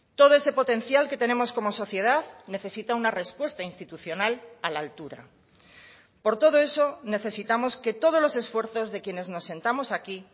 todo ese potencial que tenemos como sociedad necesita una respuesta institucional a la altura por todo eso necesitamos que todos los esfuerzos de quienes nos sentamos aquí